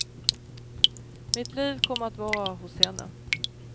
Mitt liv kommer att vara hos henne.